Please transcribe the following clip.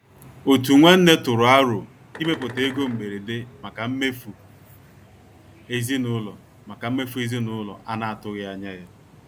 Òtù nwanne tụrụ àrò ịmèpụta égò mbèrédè maka mmèfù ezinúlọ̀ maka mmèfù ezinúlọ̀ a na-atùghị anya ya.